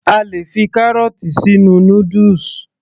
A lè fi kárọ̀ọ̀tì sínú noodles